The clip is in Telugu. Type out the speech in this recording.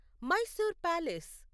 మైసూర్ ప్యాలెస్